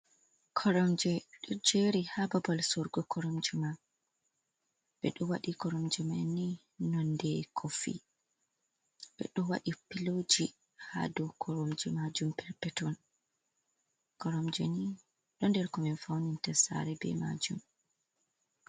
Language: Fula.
Koromje ɗo jeri ha babal sorugo koromjeman ɓeɗo waɗi koromjemanni nonde kofi, ɓeɗo waɗi piloji ha dow koromje majum perpeton koromjeni ɗo nder ko min faunirtasare ɓe majum.